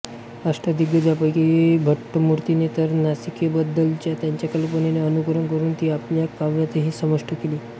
अष्टदिग्गजांपैकी भट्टमूर्तीने तर नासिकेबद्दलच्या त्याच्या कल्पनेचे अनुकरण करून ती आपल्या काव्यातही समाविष्ट केली